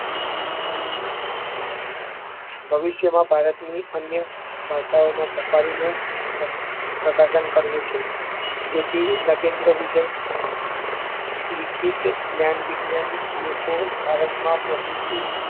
ભવિષ્યમાં ભારતની અન્ય ભાષાઓમાં safari નું પ્રકાશન કરવું છે જેથી નગેન્દ્ર વિજય લિખિત જ્ઞાન-વિજ્ઞાન લોકો ભારતમાં